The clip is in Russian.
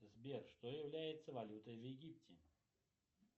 сбер что является валютой в египте